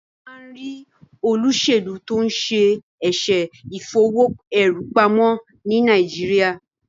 wón má rí olósèlú to'n ṣe eṣe Ìfowó-èrú-pamọ́ ní Nàìjíríà.